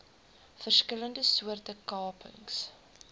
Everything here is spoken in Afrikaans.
verskillende soorte kapings